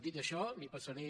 dit això li passaré